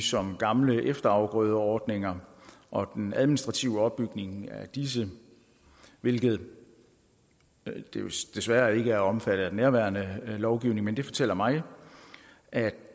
som gamle efterafgrødeordninger og den administrative opbygning af disse hvilket desværre ikke er omfattet af den nærværende lovgivning men det fortæller mig at